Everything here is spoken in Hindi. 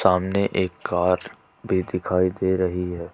सामने एक कार भी दिखाई दे रही है।